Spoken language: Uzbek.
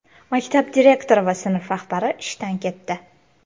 Maktab direktori va sinf rahbari ishdan ketdi .